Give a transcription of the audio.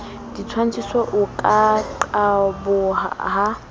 ditshwantshiso o ka qaboha ha